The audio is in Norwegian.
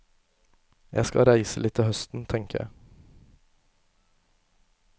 Jeg skal reise litt til høsten, tenker jeg.